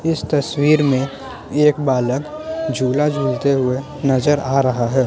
इस तस्वीर में एक बालक झूला झूलते हुए नजर आ रहा है।